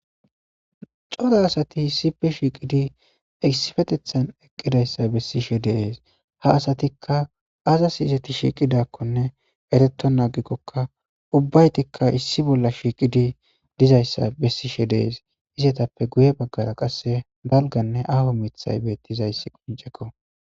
cora asati issife shiiqidi esifetethan eqqidayssa bessishe deees ha asatikka azas izeti shiiqidakkonne ereto naagikkokka ubbaytikka issi bolla shiiqidi dizayssa bessishe dees izetappe guye baggara qasse balganne aho mithay bettiiizayssi quncekko